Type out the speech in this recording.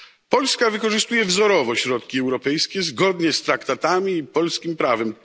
Polska wykorzystuje wzorowo środki europejskie zgodnie z traktatami i polskim prawem.